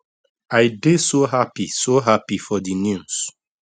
i dey so happy so happy for di news